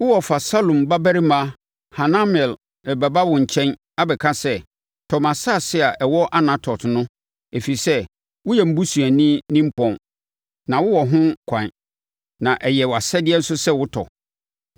Wo wɔfa Salum babarima Hanamel rebɛba wo nkyɛn, abɛka sɛ, ‘Tɔ mʼasase a ɛwɔ Anatot + 32.7 Anatot—Yeremia kurom. no, ɛfiri sɛ woyɛ me busuani nimpɔn na wowɔ ho ɛkwan, na ɛyɛ wʼasɛdeɛ nso sɛ wotɔ.’